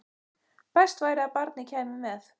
Best væri að barnið kæmi með.